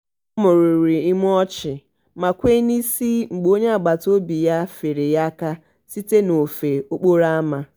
ọ mumuru imu ọchị ma kwee n'isi mgbe onye agbataobi ya feere ya aka site n'ofe okporo ama.